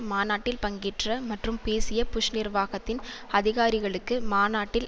மாநாட்டில் பங்கேற்ற மற்றும் பேசிய புஷ் நிர்வாகத்தின் அதிகாரிகளுக்கு மாநாட்டில்